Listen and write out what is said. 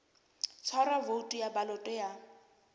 tshwarwa voutu ya baloto ya